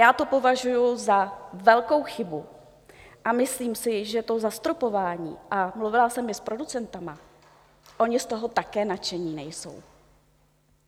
Já to považuji za velkou chybu a myslím si, že to zastropování - a mluvila jsem i s producenty - oni z toho také nadšení nejsou.